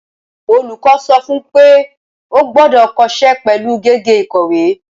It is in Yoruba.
Olùkọ́ sọ fún pé o gbọ́dọ̀ kọsẹ́ pẹ̀lú gègé ìkọ̀wé.